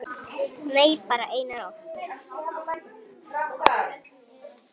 Nei, bara eina nótt.